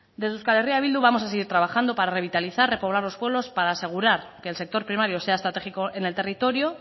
desde euskal herria bildu vamos a seguir trabajando para revitalizar repoblar los pueblos para asegurar que el sector primario sea estratégico en el territorio